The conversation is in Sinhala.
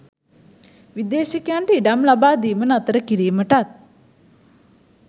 විදේශිකයන්ට ඉඩම් ලබාදීම නතර කිරීමටත්